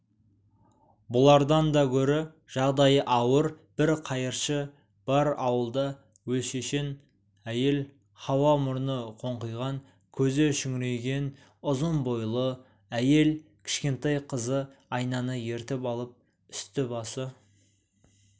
бұлардан да гөрі жағдайы ауыр бір қайыршы бар ауылда олшешен әйел хауа мұрны қоңқиған көзі шүңірейген ұзын бойлы әйел кішкентай қызы айнаны ертіп алып үсті-басы